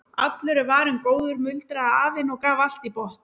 Allur er varinn góður muldraði afinn og gaf allt í botn.